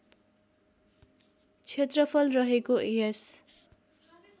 क्षेत्रफल रहेको यस